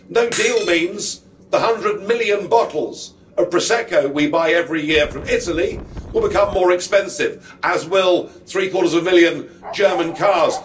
No deal means the hundred million bottles of Prosecco we buy every year from Italy will become more expensive, as will three quarters of a million German cars.